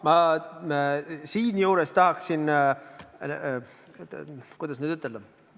Jaa, siinjuures ma tahaksin – kuidas nüüd ütelda?